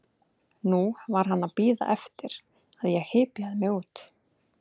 Nú var hann að bíða eftir að ég hypjaði mig út.